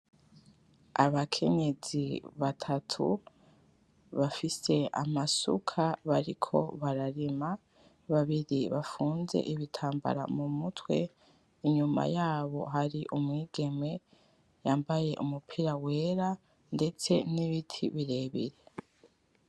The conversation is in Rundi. Abakenyezi batatu bafise amasuka bariko bararima, babiri bafunze ibitambara mumutwe inyuma yabo hari umwigeme yambaye umupira wera , ndetse nibiti birebire .